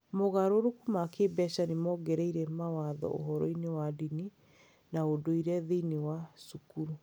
Mogarũrũku ma kĩĩmbeca nĩ mongereire mathomo ũhoro-inĩ wa ndini na ũndũire thĩinĩ wa cukuru.